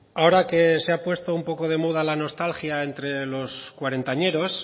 ahora que se ha puesto un poco de moda la nostalgia entre los cuarentañeros